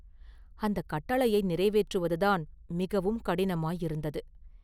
அந்தக் கட்டளையை நிறைவேற்றுவதுதான் மிகவும் கடினமாயிருந்தது.